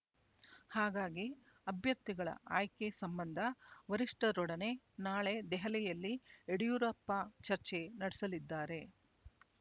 ಹಾಗಾಗಿ ಅಭ್ಯರ್ಥಿಗಳ ಆಯ್ಕೆ ಸಂಬಂಧ ವರಿಷ್ಠರೊಡನೆ ನಾಳೆ ದೆಹಲಿಯಲ್ಲಿ ಯಡಿಯೂರಪ್ಪ ಚರ್ಚೆ ನಡೆಸಲಿದ್ದಾರೆ